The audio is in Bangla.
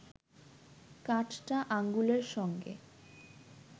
কাঠটা আঙুলের সঙ্গে